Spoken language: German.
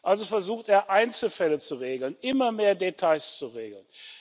Also versucht er, Einzelfälle zu regeln, immer mehr Details zu regeln.